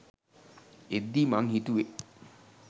එද්දි මං හිතුවෙ